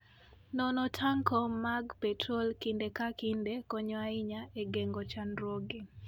Nono tanko mag petrol kinde ka kinde konyo ahinya e geng'o chandruoge.